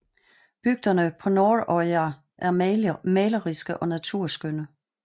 Bygderne på Norðoyar er maleriske og naturskønne